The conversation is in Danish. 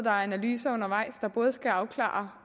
er analyser undervejs der skal afklare